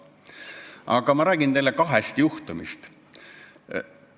Aga ma räägin teile kahest juhtumist.